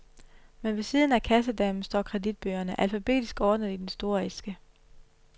Men ved siden af kassedamen står kreditbøgerne, alfabetisk ordnet i den sorte æske.